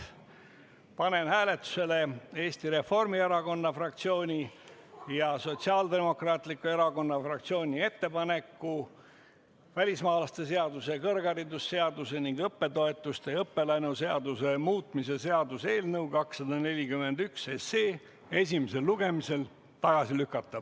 Panen hääletusele Eesti Reformierakonna fraktsiooni ja Sotsiaaldemokraatliku Erakonna fraktsiooni ettepaneku välismaalaste seaduse, kõrgharidusseaduse ning õppetoetuste ja õppelaenu seaduse muutmise seaduse eelnõu 241 esimesel lugemisel tagasi lükata.